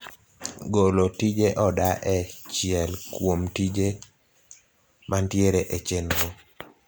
golo tije oda e chiel kuomtije mantiere e chenro